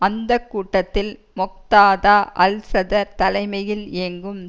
அந்த கூட்டத்தில் Muqtada al Sadr தலைமையில் இயங்கும்